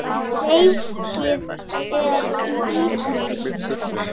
Leikið er í Ítalíu.